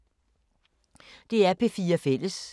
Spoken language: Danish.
DR P4 Fælles